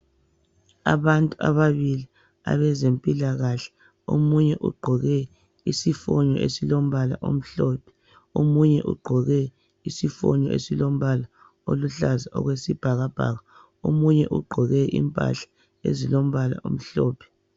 Abantu ababili abezempilakahle omunye ugqoke isifonyo esilombala omhlophe, omunye ugqoke isifonyo esilombala oluhlaza okwesibhakabhaka, omunye ugqoke impahla ezilombala omhlophe.